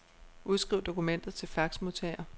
Udskriv dokumentet til faxmodtager.